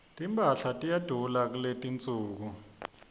timphahla tiyadula kuletinsuku